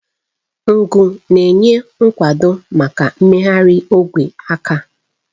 Ngu na-enye nkwado maka mmegharị ogwe aka.